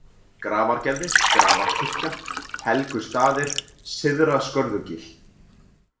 Grafargerði, Grafarkirkja, Helgustaðir, Syðra-Skörðugil